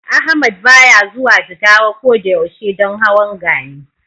Ahmad baya zuwa Jigawa ko da yaushe don hawan Gani.